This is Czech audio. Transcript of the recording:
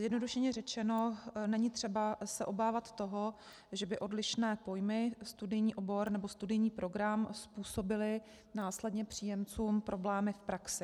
Zjednodušeně řečeno není třeba se obávat toho, že by odlišné pojmy studijní obor nebo studijní program způsobily následně příjemcům problémy v praxi.